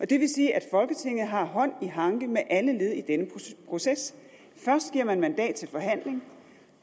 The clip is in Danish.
det vil sige at folketinget har hånd i hanke med alle led i denne proces først giver man mandat til forhandling